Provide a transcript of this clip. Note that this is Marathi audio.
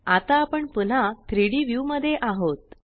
आता आपण पुन्हा 3Dव्यू मध्ये आहोत